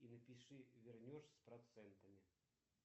и напиши вернешь с процентами